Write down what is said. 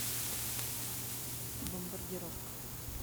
бомбардировка